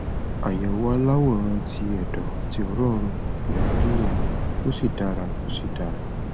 àyẹwò aláwòrán ti ẹdọ àti òrònrò lẹ ń rí yẹn ó sì dára ó sì dára